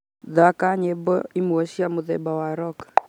thaka nyimbo imwe cia mutheba wa rock